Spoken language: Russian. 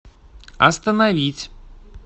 остановить